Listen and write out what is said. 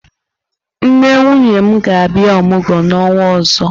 Nne nwunye m ga-abia omugwo n'onwa ozo.